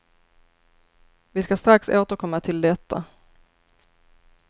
Vi skall strax återkomma till detta.